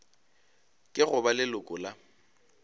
ke go ba leloko la